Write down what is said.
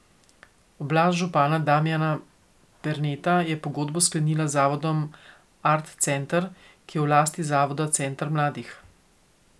Oblast župana Damijana Perneta je pogodbo sklenila z zavodom Art center, ki je v lasti zavoda Center mladih.